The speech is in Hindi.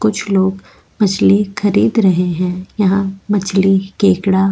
कुछ लोग मछली खरीद रहे हैं यहाँ मछली केंगड़ा --